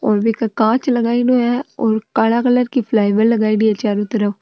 और बीके कांच लगायेडो है और काला कलर की लगाउडि है चारो तरफ।